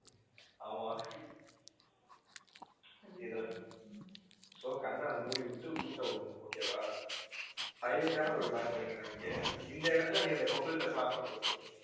ஆமா இதுல so கண்ணை மூடிவிட்டு ஊட்ட விடணும் okay வா highlight ஆன ஒரு matter என்னன்னா இங்க இந்த இடத்துல நீ அந்த couples அ swap பண்ணி விட்டுடனும்.